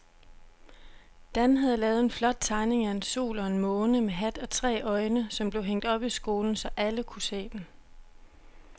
Dan havde lavet en flot tegning af en sol og en måne med hat og tre øjne, som blev hængt op i skolen, så alle kunne se den.